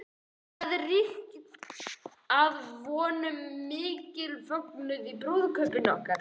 Það ríkti að vonum mikill fögnuður í búðum okkar